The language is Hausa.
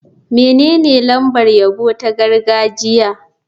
Menene lambar yabo ta gargajiya?